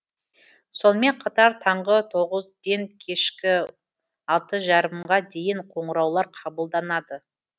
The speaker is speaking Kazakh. сонымен қатар таңғы тоғызден кешкі алты жарымға дейін қоңыраулар қабылданады